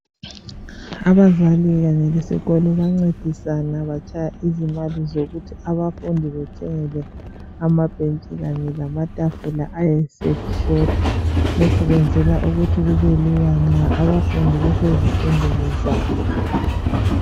Abazali kanye lesikolo bancedisana batshaya izimali zokuthi abafundi bethengelwe amabhetshi kanye lamatafula ayeseshota. Lokhu kwenzelwa ukuthi kubelula nxa abafundi besezifundweni zabo.